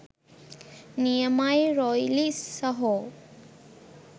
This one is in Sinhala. නියමයි රොයිලි සහෝ.